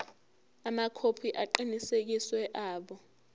amakhophi aqinisekisiwe abo